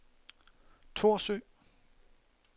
Thorsø